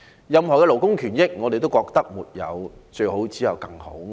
任何的勞工權益，我們都覺得是"沒有最好，只有更好"。